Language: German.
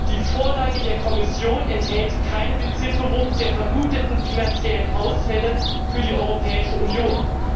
Die Vorlage der Kommission enthält keine Bezifferung der vermuteten finanziellen Ausfälle für die Europäische Union.